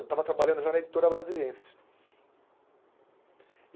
Eu estava trabalhando já na editora brasiliense.